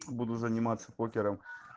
буду заниматься покером